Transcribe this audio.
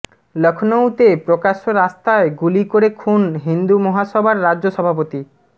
লখনউতে প্রকাশ্য রাস্তায় গুলি করে খুন হিন্দু মহাসভার রাজ্য সভাপতি